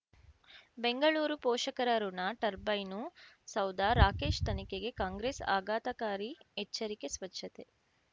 ಬೆಂಗಳೂರು ಪೋಷಕರಋಣ ಟರ್ಬೈನು ಸೌಧ ರಾಕೇಶ್ ತನಿಖೆಗೆ ಕಾಂಗ್ರೆಸ್ ಆಘಾತಕಾರಿ ಎಚ್ಚರಿಕೆ ಸ್ವಚ್ಛತೆ